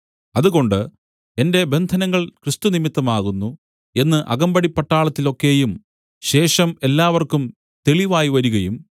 അതുകൊണ്ട് എന്റെ ബന്ധനങ്ങൾ ക്രിസ്തു നിമിത്തമാകുന്നു എന്ന് അകമ്പടിപട്ടാളത്തിൽ ഒക്കെയും ശേഷം എല്ലാവർക്കും തെളിവായി വരികയും